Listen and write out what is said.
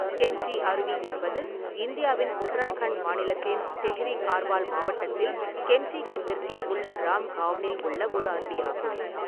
கெம்ப்டி அருவி என்பது இந்தியாவின் உத்தராகண்ட் மாநிலத்தின் தெஹ்ரி கார்வால் மாவட்டத்தில் கெம்ப்டிக்கு தெற்கே உள்ள ராம் காவ்னில் உள்ள ஒரு அருவியாகும்.